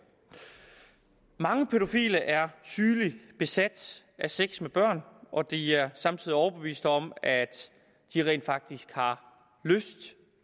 mange pædofile er sygeligt besat af sex med børn og de er samtidig overbevist om at de rent faktisk har lyst